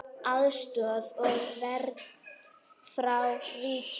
Aðstoð og vernd frá ríkinu